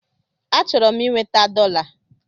Achọrọ m inweta dọla.